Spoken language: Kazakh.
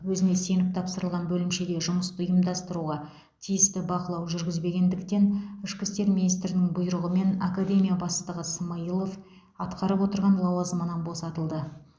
өзіне сеніп тапсырылған бөлімшеде жұмысты ұйымдастыруға тиісті бақылау жүргізбегендіктен ішкі істер министрінің бұйрығымен академия бастығы смайылов атқарып отырған лауазымынан босатылды